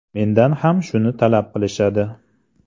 Mendan ham shuni talab qilishadi.